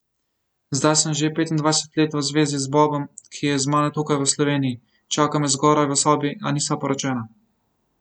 Zdaj sem že petindvajset let v zvezi z Bobom, ki je z mano tukaj v Sloveniji, čaka me zgoraj v sobi, a nisva poročena.